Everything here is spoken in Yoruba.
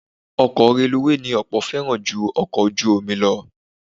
Ọkọ̀ reluwé ni ọ̀pọ̀ fẹ́ràn ju ọkọ ojú omi lọ